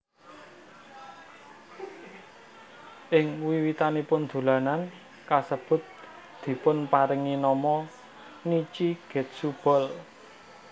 Ing wiwitanipun dolanan kasebut dipunparingi nama Nichi Getsu Ball